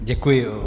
Děkuji.